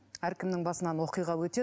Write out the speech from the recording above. әркімнің басынан оқиға өтеді